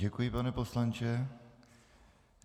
Děkuji, pane poslanče.